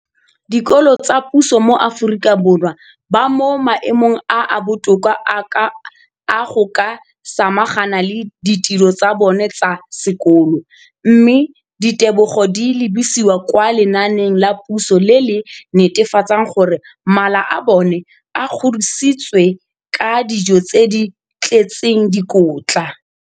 dikolo tsa puso mo Aforika Borwa ba mo maemong a a botoka a go ka samagana le ditiro tsa bona tsa sekolo, mme ditebogo di lebisiwa kwa lenaaneng la puso le le netefatsang gore mala a bona a kgorisitswe ka dijo tse di tletseng dikotla.